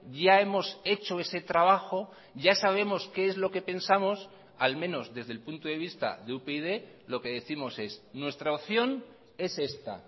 ya hemos hecho ese trabajo ya sabemos qué es lo que pensamos al menos desde el punto de vista de upyd lo que décimos es nuestra opción es esta